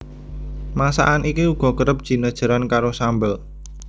Masakan iki uga kerep jinejeran karo sambel